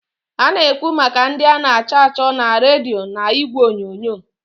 A na-ekwu maka ndị a na-achọ achọ na redio n'igwe onyonyo.